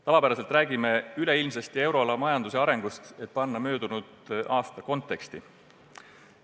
Tavaliselt räägime üleilmsest euroala majanduse arengust, et panna möödunud aasta konteksti.